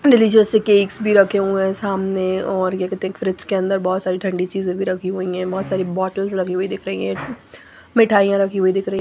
Delicious से cakes भी रखे हुए हैं सामने और क्या कहते हैं फ्रिज के अंदर बहुत सारी ठंडी चीजें भी रखी हुई हैं बहुत सारी बॉटल्स लगी हुई दिख रही हैं मिठाइयां रखी हुई दिख रही हैं।